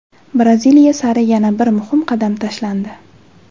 Braziliya sari yana bir muhim qadam tashlandi!.